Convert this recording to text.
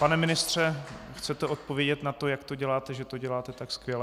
Pane ministře, chcete odpovědět na to, jak to děláte, že to děláte tak skvěle?